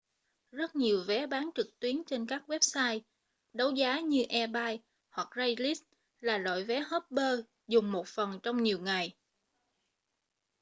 rất nhiều vé bán trực tuyến trên các website đấu giá như ebay hoặc craigslist là loại vé hopper dùng một phần trong nhiều ngày